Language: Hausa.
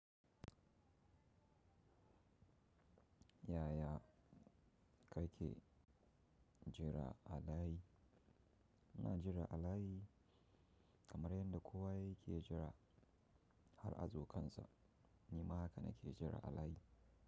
Yaya kake jira a layi? Ina jira a layi kamar yadda kowa yake jira har a zo kansa. Ni ma haka nake jira a layi.